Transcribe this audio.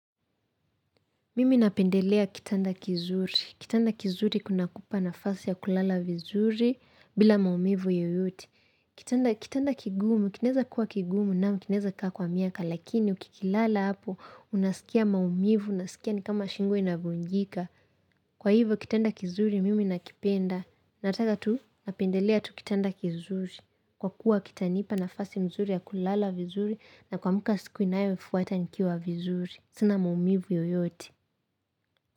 Mimi napendelea kitanda kizuri. Kitanda kizuri kunakupa nafasi ya kulala vizuri bila maumivu yoyote. Kitanda kigumu, kinaweza kuwa kigumu na kinaweza kaa kwa miaka lakini ukikilala hapo, unasikia maumivu, unasikia ni kama shingo inavunjika. Kwa hivyo kitanda kizuri mimi nakipenda. Nataka tu napendelea tu kitanda kizuri. Kwa kuwa kitanipa nafasi mzuri ya kulala vizuri na kuamka siku inayofuata nikiwa vizuri. Sina maumivu yoyote.